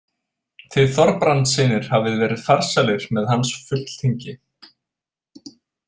Þið Þorbrandssynir hafið verið farsælir með hans fulltingi.